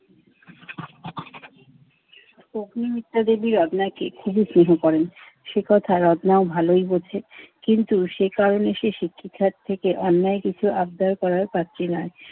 অগ্নি মিত্তা দেবীর রত্নাকে খুবই স্নেহ করেন। সে কথা রত্নাও ভালই বোঝে। কিন্তু সে কারণে সে শিক্ষিকার থেকে অন্যায় কিছু আবদার করার পাত্রী নয়।